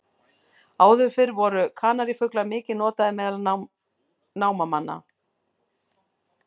Áður fyrr voru kanarífuglar mikið notaðir meðal námamanna.